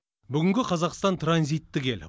бүгінгі қазақстан транзиттік ел